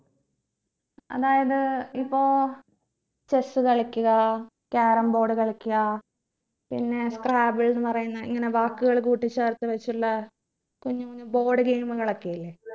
അതായത് ഇപ്പൊ chess കളിക്കുക carom board കളിക്കുക പിന്നെ scrabble ന്ന് പറയുന്ന ഇങ്ങനെ വാക്കുകൾ കൂട്ടി ചേർത്ത് വച്ചുള്ള കുഞ്ഞു കുഞ്ഞു board game കളൊക്കെ ഇല്ലേ